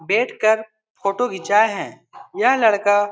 बैठ कर फोटो घीचाये हैं यह लड़का --